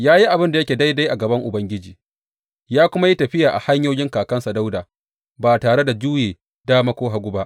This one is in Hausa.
Ya yi abin da yake daidai a gaban Ubangiji ya kuma yi tafiya a hanyoyin kakansa Dawuda, ba tare da juye dama ko hagu ba.